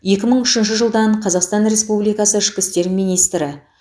екі мың үшінші жылдан қазақстан республикасы ішкі істер министрі